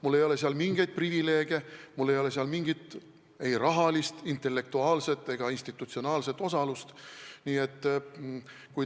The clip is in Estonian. Mul ei ole seal mingeid privileege, mul ei ole seal mingit ei rahalist, intellektuaalset ega institutsionaalset osalust.